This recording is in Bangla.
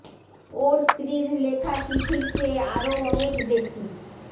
ওর স্ত্রীর লেখা চিঠির চেয়ে আরও অনেক বেশি